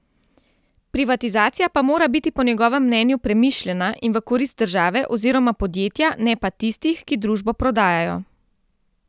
Privatizacija pa mora biti po njegovem mnenju premišljena in v korist države oziroma podjetja ne pa tistih, ki družbo prodajajo.